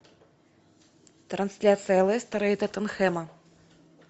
трансляция лестера и тоттенхэма